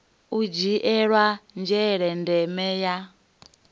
u dzhiela nzhele ndeme ya